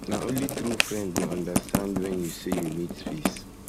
na only true friend go understand wen you say you say you need space